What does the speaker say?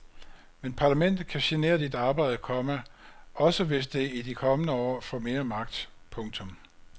Men parlamentet kan genere dit arbejde, komma også hvis det i de kommende år får mere magt. punktum